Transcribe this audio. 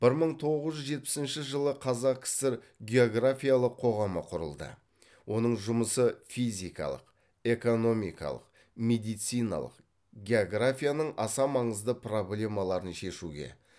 бір мың тоғыз жүз жетпісінші жылы қазақ кср географиялық қоғамы құрылды оның жұмысы физикалық экономикалық медициналық географияның аса маңызды проблемаларын шешуге